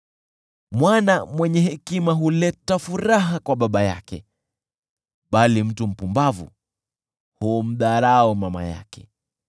Mwana mwenye hekima huleta furaha kwa baba yake, bali mtu mpumbavu humdharau mama yake.